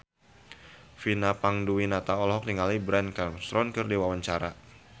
Vina Panduwinata olohok ningali Bryan Cranston keur diwawancara